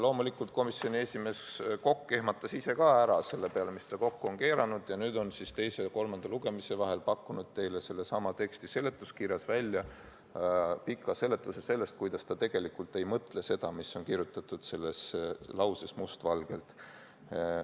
Loomulikult, komisjoni esimees Kokk ehmatas ise ka ära selle peale, mis ta kokku oli keeranud, ja nüüd on teise ja kolmanda lugemise vahel pakkunud teile sellesama teksti seletuskirjas välja pika seletuse, kuidas ta tegelikult ei mõtle seda, mis on kirjutatud selles lauses must valgel.